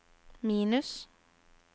minus